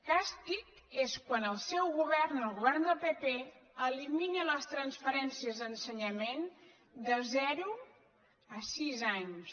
càstig és quan el seu govern el govern del pp eli·mina les transferències a ensenyament de zero a sis anys